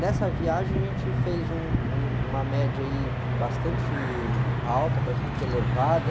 Nessa viagem a gente fez um, um, uma média, aí, bastante alta, bastante elevada.